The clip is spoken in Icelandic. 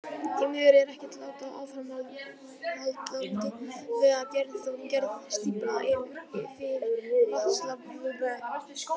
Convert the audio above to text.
Því miður er ekkert lát á áframhaldandi vegagerð og gerð stífla fyrir vatnsaflsvirkjanir.